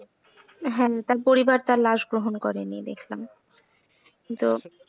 হ্যাঁ তার পরিবার তার লাশ গ্রহণ করেনি দেখলাম তো,